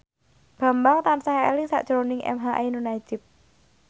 Bambang tansah eling sakjroning emha ainun nadjib